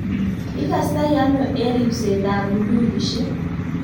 ikastei ano eng' ribsetab bundukisiek?